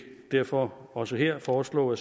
derfor også her foreslå